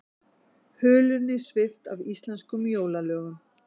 Hulunni svipt af íslenskum jólalögum